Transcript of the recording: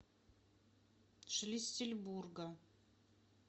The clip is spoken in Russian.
шлиссельбурга